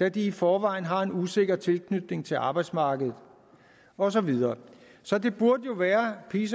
da de i forvejen har en usikker tilknytning til arbejdsmarkedet og så videre så det burde jo være peace